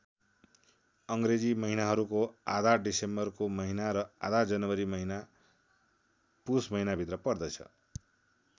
अङ्ग्रेजी महिनाहरूको आधा डिसेम्बरको महिना र आधा जनवरी महिना पुष महिनाभित्र पर्दछ।